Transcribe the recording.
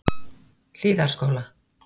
Hlíðarskóla